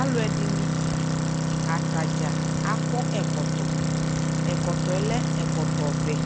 alʋɛdini, atagya akɔ ɛkɔtɔ, ɛkɔtɔɛ lɛ ɛkɔtɔ vɛɛ